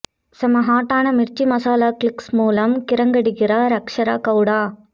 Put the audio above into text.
செம்ம ஹாட்டான மிர்ச்சி மசாலா கிளிக்ஸ் மூலம் கிரங்கடிக்கிறார் அக்ஷரா கவுடா